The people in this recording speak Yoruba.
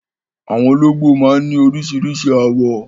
Àwọn olóńgbò máa ń ní oríṣiríṣi àwọ̀